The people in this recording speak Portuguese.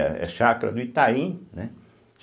Era a chácara do Itaim, né.